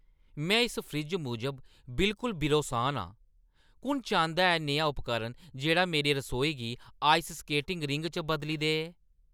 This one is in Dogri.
में इस फ्रिज्जै मूजब बिलकुल बिरोसान आं। कु'न चांह्‌दा ऐ नेहा उपकरण जेह्ड़ा मेरी रसोई गी आइस स्केटिंग रिंग च बदली देऐ?